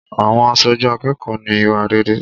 Àwọn aṣojú akẹ́kọ̀ọ́ ní ìwà rere.